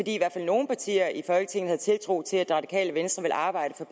i hvert fald nogle partier i folketinget havde tiltro til at det radikale venstre ville arbejde for